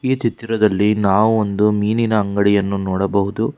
ಈ ಚಿತ್ರದಲ್ಲಿ ನಾವು ಒಂದು ಮೀನಿನ ಅಂಗಡಿಯನ್ನು ನೋಡಬಹುದು.